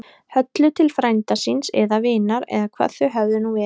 Höllu til frænda síns. eða vinar. eða hvað þau höfðu nú verið.